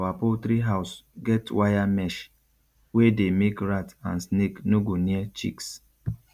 our poultry house get wire mesh wey dey make rat and snake no go near chicks